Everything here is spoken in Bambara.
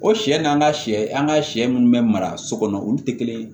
O sɛ n'an ka sɛ an ka sɛ munnu bɛ mara so kɔnɔ olu tɛ kelen ye